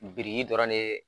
Biriki dɔrɔn ne